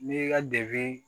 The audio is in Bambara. N'i y'i ka debini